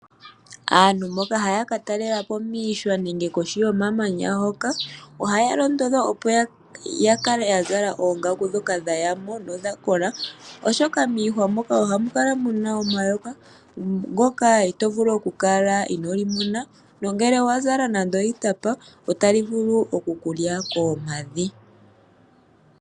Aantu mboka haya katalelapo miihwa nenge kohi yomamanya hoka, ohaya londodhwa opo yakale yazala oongaku dhoka dhayamo nodha kola, oshoka miihwa mono ohamu kala muna omayoka, ndyoka tovulu oku kala inolimona, nongele owa zala nande iitapa otali vulu oku kulya koompadhi.